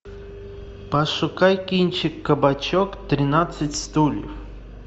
пошукай кинчик кабачок тринадцать стульев